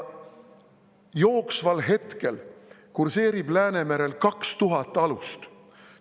Jooksval hetkel kurseerib Läänemerel kaks tuhat alust.